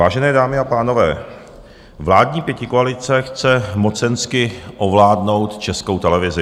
Vážené dámy a pánové, vládní pětikoalice chce mocensky ovládnout Českou televizi.